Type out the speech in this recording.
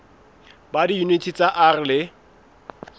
ba diyuniti tsa r le